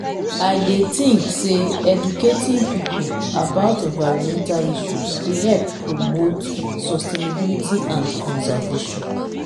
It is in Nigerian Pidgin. i dey think say educating people about environmental issues dey help promote sustainability and conservation.